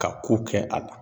Ka ko kɛ a la.